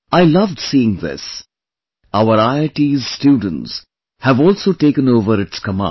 I loved seeing this; our IIT's students have also taken over its command